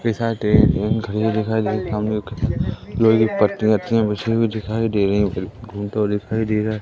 एक घड़ी दिखाई दे रही सामने एक लोहे की पत्ती रखी हैं बिछी हुई दिखाई दे रही हैं घूमता हुआ दिखाई दे रहा है।